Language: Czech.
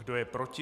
Kdo je proti?